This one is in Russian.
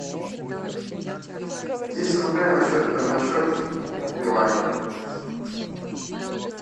десять рублей на счет билайн